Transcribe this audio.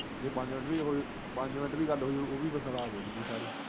ਜੇ ਪੰਜ ਮਿੰਟ ਵੀ ਗੱਲ ਹੋਈ